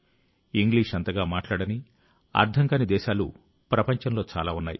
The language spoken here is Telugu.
ఇంగ్లీషు అంతగా మాట్లాడని అర్థం కాని దేశాలు ప్రపంచంలో చాలా ఉన్నాయి